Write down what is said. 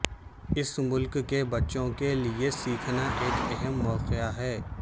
اس ملک کے بچوں کے لئے سیکھنا ایک اہم موقع ہے